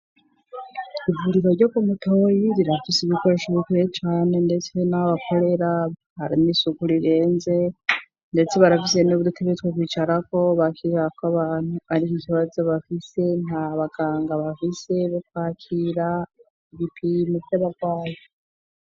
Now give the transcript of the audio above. Ivuriro ryo ku Mutoyi rirafise ibikoresho bikwiye cane ndetse naho bakorera harimwo isuku rirenze ndetse barafise n'udutebe twokwicarako bakirirako abantu ariko ikibazo bafise nta baganga bafise bakwakira ibipimo vyabagwaye.